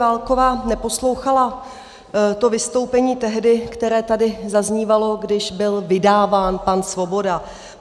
Válková neposlouchala to vystoupení tehdy, které tady zaznívalo, když by vydáván pan Svoboda.